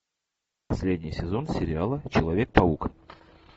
последний сезон сериала человек паук